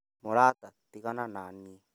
Mũrata tigana naniĩ